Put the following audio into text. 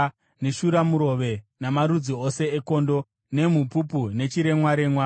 neshuramurove, namarudzi ose ekondo, nemhupupu nechiremwaremwa.